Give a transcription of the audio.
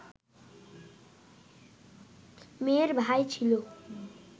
মেয়ের ভাই ছিল